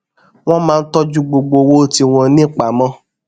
wón máa ń tójú gbogbo owó tí wón ní pamó